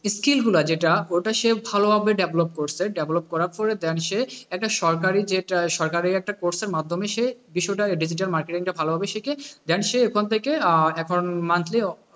Skill গুলা যেটা ওটা সে ভালোভাবে develop করেছে develop করার পরে then সে একটা সরকারি যেটা সরকারি একটা course এর মাধ্যমে সে বিষয়টা digital marketing টা ভালোভাবে শিখে then সে ওখান থেকে এখন monthly,